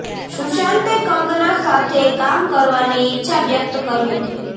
સુશાંતે કંગના સાથે કામ કરવાની ઇચ્છા વ્યક્ત કરી હતી